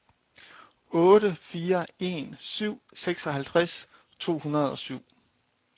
otte fire en syv seksoghalvtreds to hundrede og syv